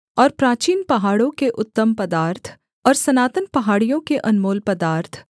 और प्राचीन पहाड़ों के उत्तम पदार्थ और सनातन पहाड़ियों के अनमोल पदार्थ